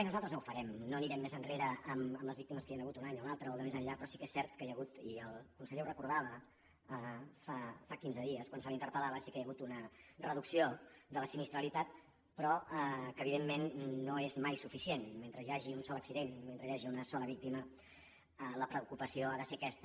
i nosal·tres no ho farem no anirem més enrere amb les víc·times que hi han hagut un any o l’altre o el de més enllà però sí que és cert que hi ha hagut i el conseller ho recordava fa quinze dies quan se l’interpel·lava una reducció de la sinistralitat però que evidentment no és mai suficient mentre hi hagi un sol accident i mentre hi hagi una sola víctima la preocupació ha de ser aquesta